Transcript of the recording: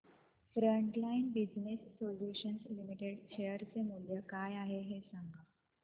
frontline Business Solutions Limited share चे मूल्य काय आहे हे सांगा